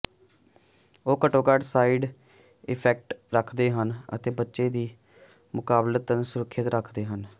ਉਹ ਘੱਟੋ ਘੱਟ ਸਾਈਡ ਇਫੈਕਟ ਰੱਖਦੇ ਹਨ ਅਤੇ ਬੱਚੇ ਲਈ ਮੁਕਾਬਲਤਨ ਸੁਰੱਖਿਅਤ ਹਨ